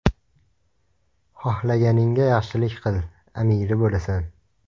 Xohlaganingga yaxshilik qil, amiri bo‘lasan”.